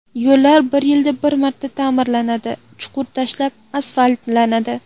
Yo‘llar bir yilda bir marta ta’mirlanadi, chuqur tashlab asfaltlanadi.